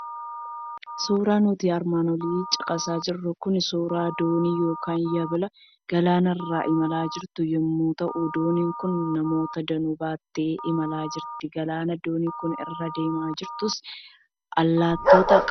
Suuraan nuti armaan olitti caqasaa jirru kun suuraa doonii yookiin yabala galaana irra imalaa jirtu yommuu ta'u, dooniin kun namoota danuu baattee imalaa jirti. Galaana dooniin kun irra adeemaa jirtus allaattota qaba.